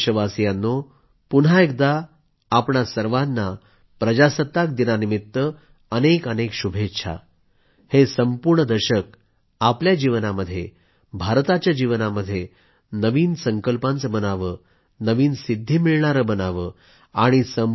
माझ्या प्रिय देशवासियांनो पुन्हा एकदा सर्वांना प्रजासत्ताक दिनानिमित्त अनेक अनेक शुभेच्छा हे संपूर्ण दशक आपल्या जीवनामध्ये भारताच्या जीवनामध्ये नवीन संकल्पाचे बनावे नवीन सिद्धी मिळणारे बनावे